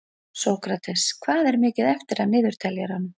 Sókrates, hvað er mikið eftir af niðurteljaranum?